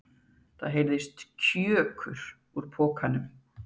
Það heyrðist KJÖKUR úr pokanum!